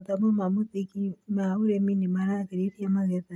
Mathomo ma mũthingi ma ũrĩmi nĩ maragĩrithia magetha